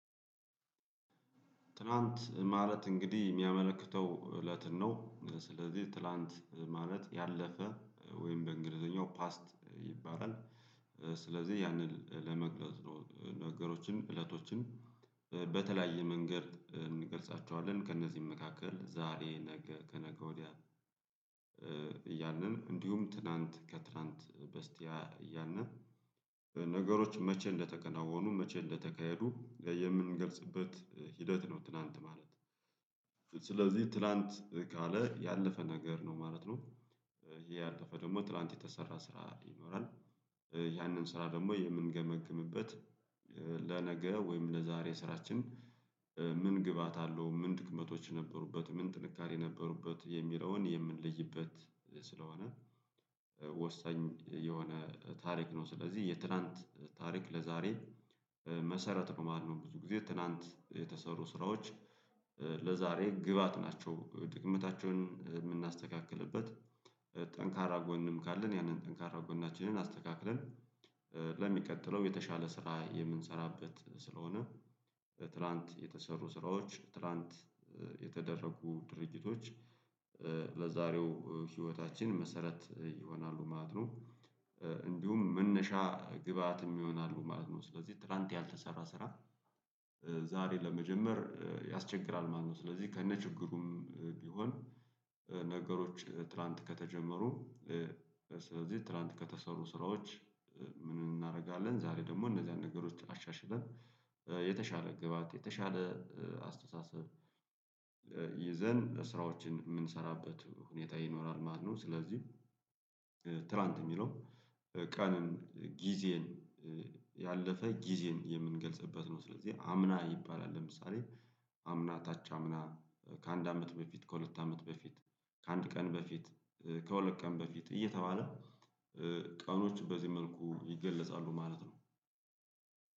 ትላንት ማለት እንግዲህ የሚያመለክተው እለትን ነው ስለዚህ ትላንት ማለት ያለፈ ወይም በእንግሊዘኛው ፓስት ይባላል። ስለዚህ ያንን ለመግለጽ ነገሮችን እለቶችን በተለያየ መንገድ እንገልጻቸዋለን ከእነዚህም መካከል ዛሬ ነገ ከነገ ወዲያ። እያልን እንዲሁም ትላንት ከትላንት በስቲያ እያንዳንዱ ነገሮች መቼ እንደተከናወኑ መቼ እንደተካሄዱ የምንገልጽበት ሂደት ነው። ትላንት ማለት ስለዚህ ትላንት ከለ ያለፈ ነገር ነው ማለት ነው። ይሄ ያለፈ ደግሞ ትላንት የተሰራ ስራ ይኖራል። ያንን ስራ ደግሞ የምንገመግምበት ለነገ ወይም ለዛሬ ስራችን ምን ግባአት አለሁ ምን ድክመቶች ነበሩበት ምን ጥንካሬ ነበሩበት የሚለውን የምንለይበት። ስለሆነ ወሳኝ የሆነ ታሪክ ነው። ስለዚህ የትላንት ታሪክ ለዛሬ መሰረት ነው ማለት ነው። ብዙ ጊዜ ትላንት የተሰሩ ስራዎች ለዛሬ ግብአት ናቸው። ድክመታቸውን የምናስተካክልበት ጠንካራ ጎንም ካለን ያንን ጠንካራ ጎናችንን አስተካክለን ለሚቀጥለው የተሻለ ስራ የምንሰራበት ስለሆነ። ትላንት የተሰሩ ስራዎች ትላንት የተደረጉ ድርጅቶች ለዛሬው ህይወታችን መሰረት ይሆናሉ ማለት ነው። እንዲሁም መነሻ ግብአት ይሆናሉ ማለት ነው። ስለዚህ ትላንት ያልተሰራ ስራ ዛሬ ለመጀመር ያስቸግራል ማለትነው። ስለዚህ ከነችግሩም ቢሆን ነገሮች ትላንት ከተጀመሩ ስለዚህ ትላንት ከተሰሩ ስራዎች። ምን እናደርጋለን ዛሬ ደግሞ እነዚህ አንድ ነገሮች አሻሽለን የተሻለ ግብአት የተሻለ አስተሳሰብ ይዘን ስራዎችን የምንሰራበት ሁኔታ ይኖራል ማለት ነው። ስለዚህ ትላንት የሚለው ቀንን ጊዜን ያለፈ ጊዜን የምንገልጽበት ነው። ስለዚህ አምና ይባላል። ለምሳሌ አምና ከች አምና ከአንድ አመት በፊት ከሁለት አመት በፊት ከአንድ ቀን በፊት ከሁለት ቀን በፊት እየተባለ ቀኖች በዚህ መልኩ ይገለጻሉ ማለት ነው።